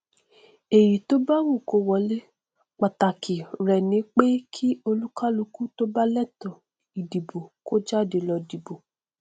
èyí tó bá wù kó wọlé pàtàkì rẹ ni pé kí olúkálukú tó bá lẹtọọ ìdìbò kó jáde lọ dìbò